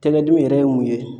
Tɛgɛ dimi yɛrɛ ye mun ye